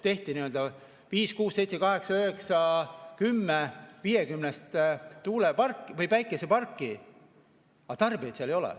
Tehti viis, kuus, seitse, kaheksa, üheksa või kümme 50‑ päikeseparki, aga tarbijaid seal ei ole.